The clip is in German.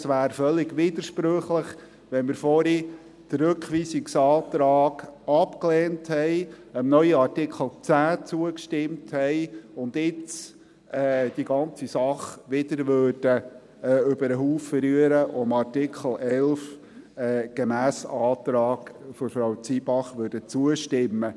Es wäre völlig widersprüchlich, nachdem wir den Rückweisungsantrag vorhin abgelehnt und dem neuen Artikel 10 zugestimmt haben, wenn wir die ganze Sache jetzt wieder über den Haufen werfen würden, um dem Artikel 11 gemäss Antrag von Frau Zybach zuzustimmen.